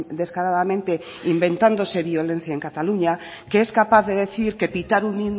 descaradamente inventándose violencia en cataluña que es capaz de decir que pitar un